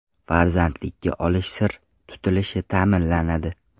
Farzandlikka olish sir tutilishi ta’minlanadi.